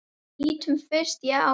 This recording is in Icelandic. Lítum fyrst á Evrópu.